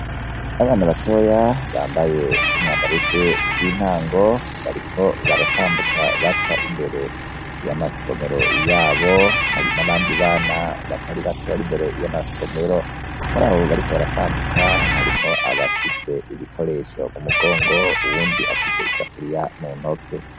Abana batoya bambaye umwambaro w'ishure ry'intango, bariko baratambuka baca imbere y'amasomero iyabo , hari n'abandi bana batari bake bari imbere y'amasomero, muri abo bariko baratambuka harimo abafise ibikoresho mu mugongo uwundi afise i safuriya muntoki.